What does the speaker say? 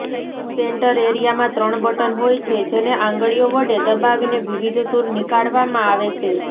centre એરિયામાં ત્રણ button હોય છે જેને આંગળીઓ વડે દબાવીને વિવિધ સૂર નિકાળવામાં આવે છે